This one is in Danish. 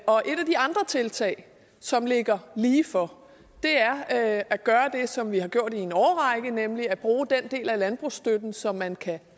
og et af de andre tiltag som ligger lige for er at at gøre det som vi har gjort i en årrække nemlig at bruge den del af landbrugsstøtten som man kan